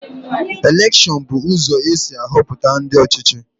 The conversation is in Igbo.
Elekshon bụ ụzọ esi ahọpụta ndị ọchịchị.